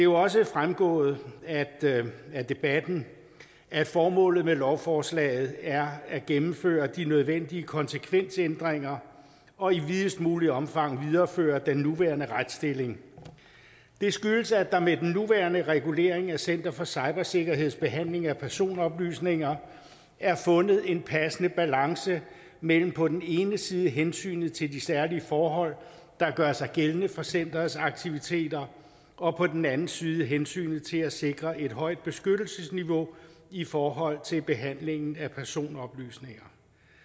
også fremgået af debatten at formålet med lovforslaget er at gennemføre de nødvendige konsekvensændringer og i videst muligt omfang videreføre den nuværende retsstilling det skyldes at der med den nuværende regulering af center for cybersikkerheds behandling af personoplysninger er fundet en passende balance mellem på den ene side hensynet til de særlige forhold der gør sig gældende for centerets aktiviteter og på den anden side hensynet til at sikre et højt beskyttelsesniveau i forhold til behandlingen af personoplysninger